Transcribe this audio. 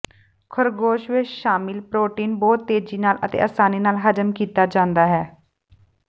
ਖਰਗੋਸ਼ ਵਿੱਚ ਸ਼ਾਮਿਲ ਪ੍ਰੋਟੀਨ ਬਹੁਤ ਤੇਜ਼ੀ ਨਾਲ ਅਤੇ ਆਸਾਨੀ ਨਾਲ ਹਜ਼ਮ ਕੀਤਾ ਜਾਂਦਾ ਹੈ